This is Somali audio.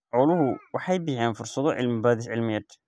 Xooluhu waxay bixiyaan fursado cilmi-baadhis cilmiyeed.